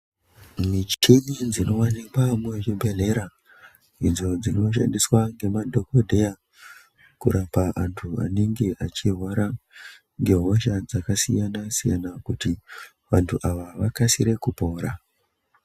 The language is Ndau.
Michini idzo dzinowanikwa muzvibhehleya idzo dzinoshandiswa ngemadhagodheya kurapa antu anenge achirwara ngehosha dzakasiyana-siyana kuti vantu ava vakasire kupora.